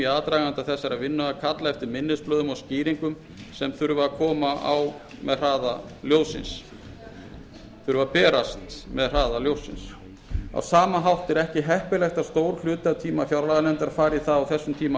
aðdraganda þessarar vinnu að kalla eftir minnisblöðum og skýringum sem þyrftu að koma á hraða ljóssins á sama hátt er ekki heppilegt að stór hluti af tíma fjárlaganefndar fari í það á þessum tíma